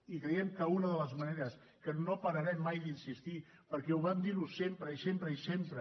i creiem que una de les maneres que no pararem mai d’insistir perquè ho vam dir sempre i sempre i sempre